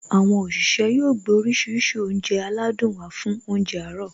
Àwọn òṣìṣẹ́ yóò gbé oríṣiríṣi oúnjẹ aládùn wá fún óúnjẹ àárọ̀